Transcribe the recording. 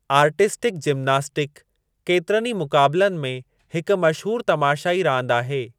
Artistic gymnastic केतिरनि ई मुक़ाबलनि में हिक मशहूरु तमाशाई रांदि आहे।